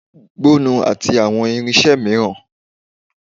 gbọnnu ati awọn irinṣẹ miiran